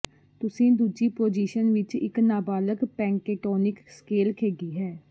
ਤੁਸੀਂ ਦੂਜੀ ਪੋਜੀਸ਼ਨ ਵਿਚ ਇਕ ਨਾਬਾਲਗ ਪੈਂਟੈਟੋਨੀਕ ਸਕੇਲ ਖੇਡੀ ਹੈ